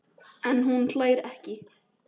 En hún hlær ekki.